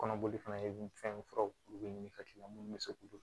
Kɔnɔboli fana ye fɛn furaw ka k'i la minnu bɛ se k'olu